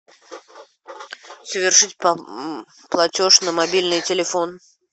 совершить платеж на мобильный телефон